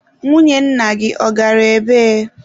Nwunye nna gị, ọ gara ebee?